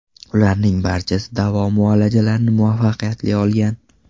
Ularning barchasi davo muolajalarini muvaffaqiyatli olgan.